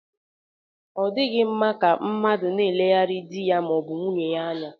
Ọ dịghị mma ka mmadụ na-eleghara di ya ma ọ bụ nwunye ya anya.